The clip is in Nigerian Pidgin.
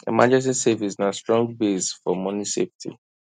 emergency savings na strong base for money safety